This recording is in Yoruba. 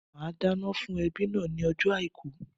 Màá dáná fún ẹbí náà ní ojó Àìkú